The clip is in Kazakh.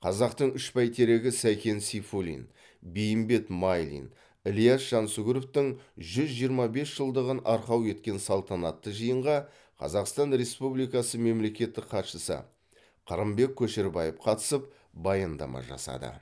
қазақтың үш бәйтерегі сәкен сейфуллин бейімбет майлин ілияс жансүгіровтің жүз жиырма бес жылдығын арқау еткен салтанатты жиынға қазақстан республикасы мемлекеттік хатшысы қырымбек көшербаев қатысып баяндама жасады